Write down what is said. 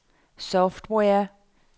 software